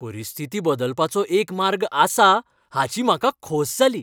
परिस्थिती बदलपाचो एक मार्ग आसा हाची म्हाका खोस जाली.